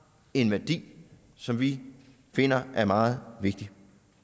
en værdi som vi finder er meget vigtig